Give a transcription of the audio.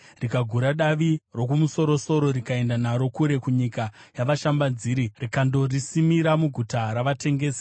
rikagura davi rokumusoro-soro rikaenda naro kure kunyika yavashambadziri, rikandorisima muguta ravatengesi.